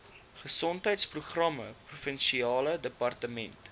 gesondheidsprogramme provinsiale departement